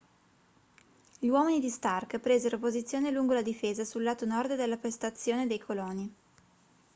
gli uomini di stark presero posizione lungo la difesa sul lato nord della postazione dei coloni